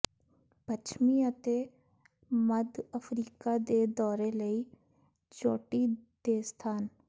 ਪੱਛਮੀ ਅਤੇ ਮੱਧ ਅਫ਼ਰੀਕਾ ਦੇ ਦੌਰੇ ਲਈ ਚੋਟੀ ਦੇ ਸਥਾਨ